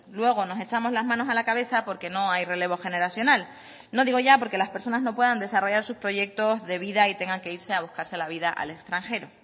luego nos echamos las manos a la cabeza porque no hay relevo generacional no digo ya porque las personas no puedan desarrollar sus proyectos de vida y tengan que irse a buscarse la vida al extranjero